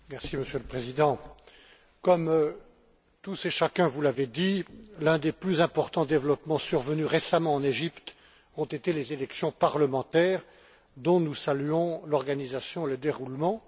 Monsieur le Président, comme tous et chacun vous l'avez dit, l'un des plus importants développements survenus récemment en Égypte a été les élections parlementaires, dont nous saluons l'organisation et le déroulement.